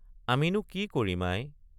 আমিনো কি কৰিম আই।